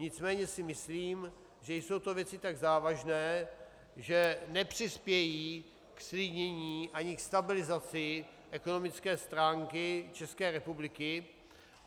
Nicméně si myslím, že jsou to věci tak závažné, že nepřispějí ke zklidnění ani ke stabilizaci ekonomické stránky České republiky.